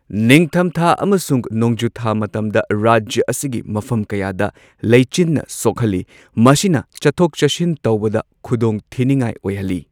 ꯅꯤꯡꯊꯝꯊꯥ ꯑꯃꯁꯨꯡ ꯅꯣꯡꯖꯨꯊꯥ ꯃꯇꯝꯗ ꯔꯥꯖ꯭ꯌ ꯑꯁꯤꯒꯤ ꯃꯐꯝ ꯀꯌꯥꯗ ꯂꯩꯆꯤꯟꯅ ꯁꯣꯛꯍꯜꯂꯤ꯫ ꯃꯁꯤꯅ ꯆꯠꯊꯣꯛ ꯆꯠꯁꯤꯟ ꯇꯧꯕꯗ ꯈꯨꯗꯣꯡꯊꯤꯅꯤꯡꯉꯥꯏ ꯑꯣꯏꯍꯜꯂꯤ꯫